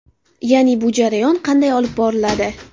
Ya’ni bu jarayon qanday olib boriladi?